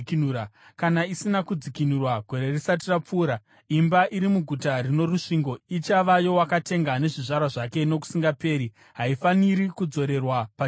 Kana isina kudzikinurwa gore risati rapfuura, imba iri muguta rino rusvingo ichava yowakatenga nezvizvarwa zvake nokusingaperi. Haifaniri kudzorerwa paJubhiri.